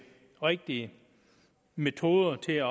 rigtige metoder til at